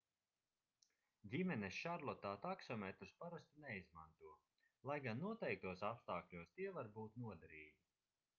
ģimenes šarlotā taksometrus parasti neizmanto lai gan noteiktos apstākļos tie var būt noderīgi